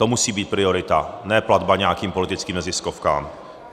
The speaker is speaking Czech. To musí být priorita, ne platba nějakým politickým neziskovkám.